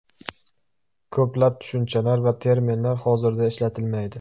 Ko‘plab tushunchalar va terminlar hozirda ishlatilmaydi.